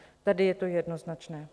Tady je to jednoznačné.